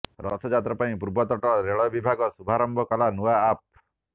ରଥଯାତ୍ରା ପାଇଁ ପୂର୍ବତଟ ରେଳ ବିଭାଗ ଶୁଭାରମ୍ଭ କଲା ନୂଆ ଆପ୍